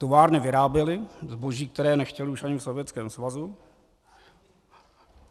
Továrny vyráběly zboží, které nechtěli už ani v Sovětském svazu.